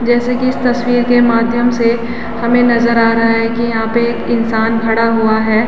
जैसे की इस तस्वीर के माध्यम से हमे नज़र आ रहा है की यहाँ पे एक इंसान खड़ा हुआ हैं।